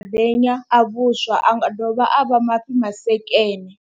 Mafhi madenya a vhuswa, a nga dovha a vha mafhi masekene.